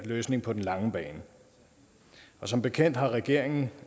løsning på den lange bane som bekendt har regeringen